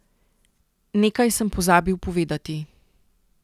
Nekaj sem pozabil povedati.